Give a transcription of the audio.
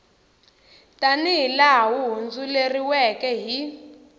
tanihi laha wu hundzuluxiweke hi